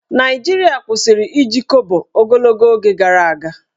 Naịjirịa kwụsịrị iji Kobo ogologo oge gara aga